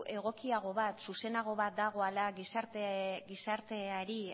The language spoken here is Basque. egokiago bat zuzenago bat dagoela gizarteari